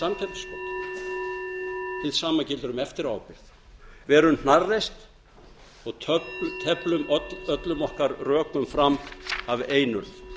hið sama gildir um eftiráábyrgð verum hnarreist og teflum öllum okkar rökum fram af einurð